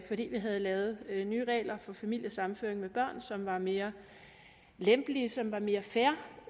vi havde lavet nye regler for familiesammenføring med børn som var mere lempelige som var mere fair